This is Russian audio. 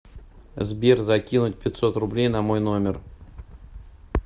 сбер закинуть пятьсот рублей на мой номер